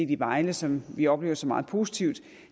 i vejle som vi oplever som noget meget positivt